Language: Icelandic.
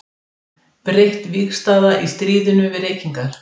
Breytt vígstaða í stríðinu við reykingar.